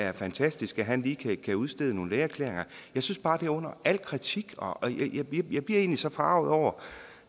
er fantastisk at han lige kan udstede nogle lægeerklæringer jeg synes bare at det er under al kritik og jeg bliver egentlig så forarget over